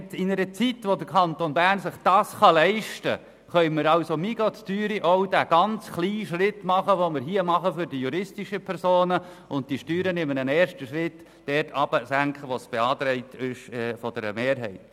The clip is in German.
In einer Zeit, in welcher der Kanton Bern sich dies leisten kann, können wir getrost auch diesen äusserst kleinen Schritt für die juristischen Personen machen und die Steuern in einem ersten Schritt im von der Kommissionsmehrheit geforderten Ausmass senken.